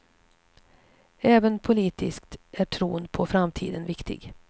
Även politiskt är tron på framtiden viktig.